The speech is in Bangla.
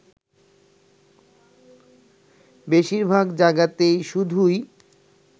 বেশীরভাগ জায়গাতেই শুধুই